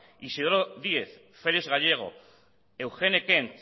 isidoro díez félix gallego eugene kent